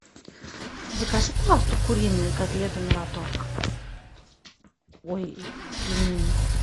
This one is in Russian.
закажи пожалуйста куриные котлеты мираторг ой пельмени